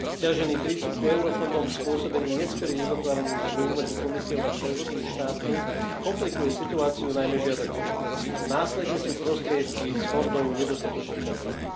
Sťažený prístup k eurofondom spôsobený neskorým uzatváraním zmlúv medzi Komisiou a členskými štátmi komplikuje situáciu najmä žiadateľom. Následne sú prostriedky z fondov nedostatočne čerpané.